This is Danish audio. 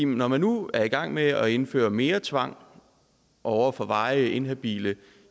når man nu er i gang med at indføre mere tvang over for varigt inhabile